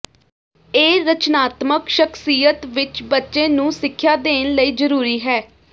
ਇਹ ਰਚਨਾਤਮਕ ਸ਼ਖ਼ਸੀਅਤ ਵਿਚ ਬੱਚੇ ਨੂੰ ਸਿੱਖਿਆ ਦੇਣ ਲਈ ਜ਼ਰੂਰੀ ਹੈ